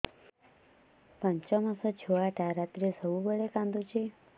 ପାଞ୍ଚ ମାସ ଛୁଆଟା ରାତିରେ ସବୁବେଳେ କାନ୍ଦୁଚି